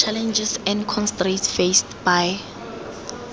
challenges and constraints faced by